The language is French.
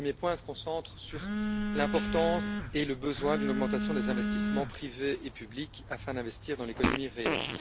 Le premier point se concentre sur l'importance et le besoin d'une augmentation des investissements privés et publics, afin d'investir dans l'économie réelle.